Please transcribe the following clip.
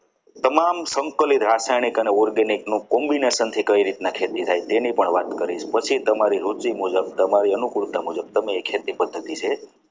તમામ સંકલિત રાસાયણિક અને organic combination થી કઈ રીતના કરાય તેની પણ વાત કરી પછી તમારી રોજી મુજબ તમારી અનુકૂળતા મુજબ તમારી ખેતી જે છે.